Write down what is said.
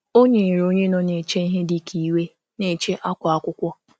Ọ Ọ nyere onye nọ na-eche ihe dị ka iwe na-eche akwa akwụkwọ.